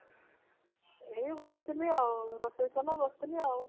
ଏଇ ବସିଥିଲି ରୋଷେଇ ସରିଲା ବସିଥିଲି ଆଉ